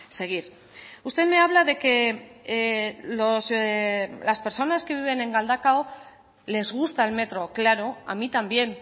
seguir usted me habla de que las personas que viven en galdakao les gusta el metro claro a mí también